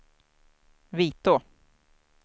Vitå